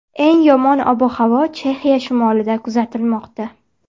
Eng yomon ob-havo Chexiya shimolida kuzatilmoqda.